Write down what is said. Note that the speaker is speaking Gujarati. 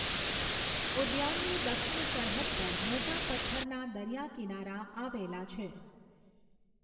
ઉદ્યાનની દક્ષિણ સરહદ પર મોટા પથ્થરના દરિયા કિનારા આવેલા છે.